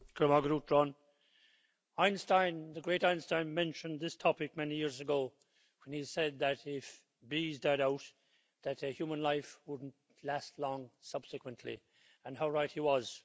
Mr President, the great Einstein mentioned this topic many years ago when he said that, if bees died out, a human life wouldn't last long subsequently. And how right he was.